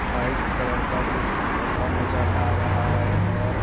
white colour का कुछ कपड़ा नजर अ रहा है और --